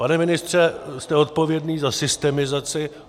Pane ministře, jste odpovědný za systemizaci.